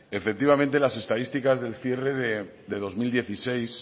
efectivamente las estadísticas del cierre de dos mil dieciséis